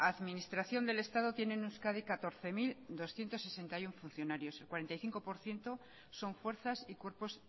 administración del estado tiene en euskadi catorce mil doscientos sesenta y uno funcionarios el cuarenta y cinco por ciento son fuerzas y cuerpos